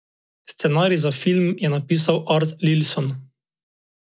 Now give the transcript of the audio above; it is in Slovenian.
Scenarij za film je napisal Art Linson.